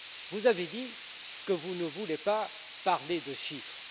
Vous avez dit que vous ne voulez pas parler de chiffres.